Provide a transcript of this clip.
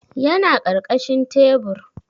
Yana karkashin tebur